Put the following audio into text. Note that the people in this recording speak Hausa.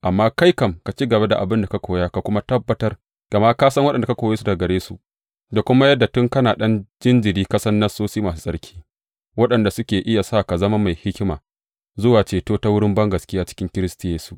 Amma kai kam, ka ci gaba da abin da ka koya ka kuma tabbatar, gama ka san waɗanda ka koye su daga gare su, da kuma yadda tun kana ɗan jinjiri ka san Nassosi masu tsarki, waɗanda suke iya sa ka zama mai hikima zuwa ceto ta wurin bangaskiya cikin Kiristi Yesu.